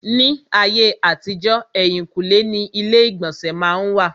Ní ayé àtijọ́, èhìnkúnlé ni ilé ìgbọ̀nsẹ̀ má n wà.